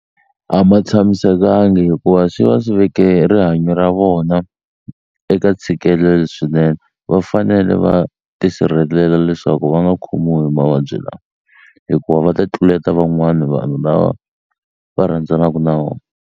A ma tshamisekangi hikuva swi va swi veke rihanyo ra vona eka ntshikelelo swinene va fanele va tisirhelela leswaku va nga khomiwi hi mavabyi lawa hikuva va ta tluleta van'wani vanhu lava va rhandzanaku na vona.